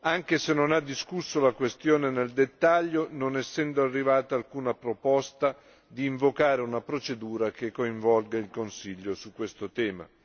Anche se non ha discusso la questione nel dettaglio non essendo arrivata alcuna proposta di invocare una procedura che coinvolga il Consiglio su questo tema.